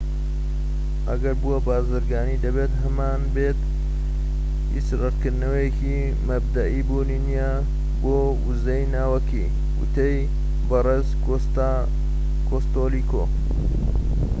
ئەگەر بووە بازرگانی دەبێت هەمانبێت هیچ ڕەتکردنەوەیەکی مەبدەئی بوونی نیە بۆ وزەی ناوەکی وتەی بەرێز کۆستێلۆ